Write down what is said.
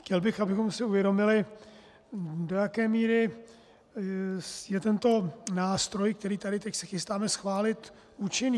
Chtěl bych, abychom si uvědomili, do jaké míry je tento nástroj, který tady se teď chystáme schválit, účinný.